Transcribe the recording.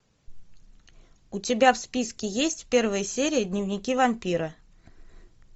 у тебя в списке есть первая серия дневники вампира